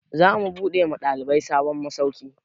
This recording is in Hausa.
Za mu buɗe wa ɗalibai sabon masauki